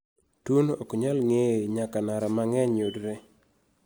Tuo no ok nyal ng'eye nyaka nara mang'eny yudre